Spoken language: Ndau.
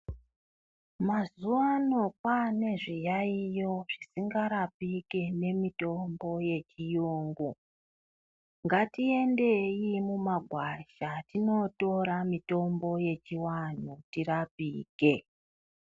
Mazuva ano kwane zviyaiyo zvisingarapiki nemitombo dzechirungu ngatiendei mumagwasha tinotora mitombo yechivantu irapike.